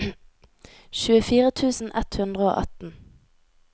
tjuefire tusen ett hundre og atten